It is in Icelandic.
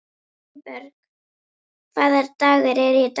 Sveinborg, hvaða dagur er í dag?